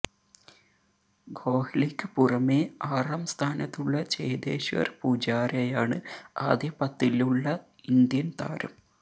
കോഹ്ലിക്ക് പുറമേ ആറാം സ്ഥാനത്തുള്ള ചേതേശ്വര് പൂജാരയാണ് ആദ്യ പത്തിലുള്ള ഇന്ത്യന് താരം